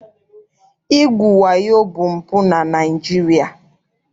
Igwu wayo bụ mpụ na Naịjirịa.